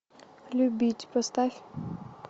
любить поставь